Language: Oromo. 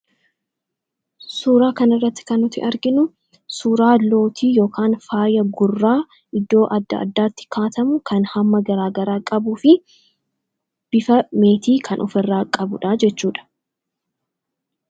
suuraa kan irratti kan nuti arginu suuraa lootii yookaan faaya gurraa iddoo adda addaatti kaawwatamu kan hamma garaagaraa qabuu fi bifa meetii kan of irraa qabudha jechuudha